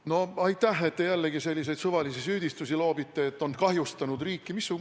No aitäh, et te jällegi selliseid suvalisi süüdistusi loobite, et on kahjustanud riiki.